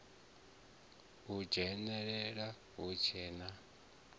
u dzhenelela hu tshe na